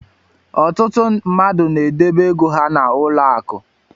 Ọtụtụ mmadụ n'edebe ego ha n'ụlọaku.